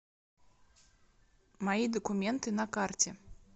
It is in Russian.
мои документы на карте